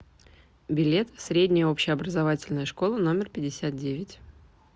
билет средняя общеобразовательная школа номер пятьдесят девять